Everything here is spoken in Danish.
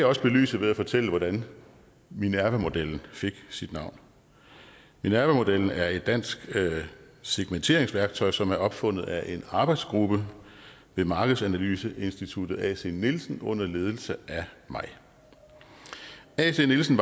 også belyse ved at fortælle hvordan minervamodellen fik sit navn minervamodellen er et dansk segmenteringsværktøj som er opfundet af en arbejdsgruppe ved markedsanalyseinstituttet acnielsen under ledelse af mig acnielsen